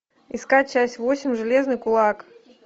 искать часть восемь железный кулак